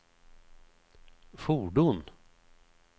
fordon